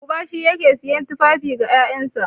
Uba shine yake siyan tufafi ga ƴaƴansa.